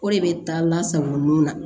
O de bɛ taa lasago nun na